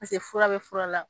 fura bɛ fura la